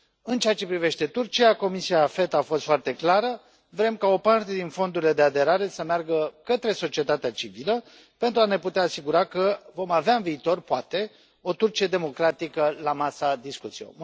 În ceea ce privește Turcia, Comisia AFET a fost foarte clară vrem ca o parte din fondurile de aderare să meargă către societatea civilă pentru a ne putea asigura că vom avea în viitor, poate, o Turcie democratică la masa discuțiilor.